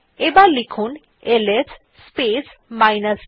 এবার লিখুন LS space minus d